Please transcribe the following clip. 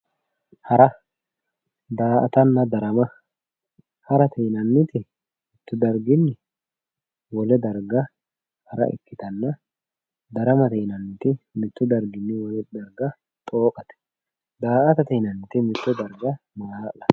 Hara daa"atanna darama harate yinanniti mittu darginni wole darga hara ikkitanna daramate yinanniti mittu darginni wole darga xooqate daa"atate yinanniti mitto darga maala'late